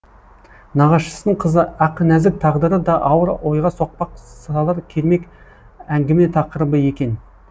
нағашысының қызы ақнәзік тағдыры да ауыр ойға соқпақ салар кермек әңгіме тақырыбы екен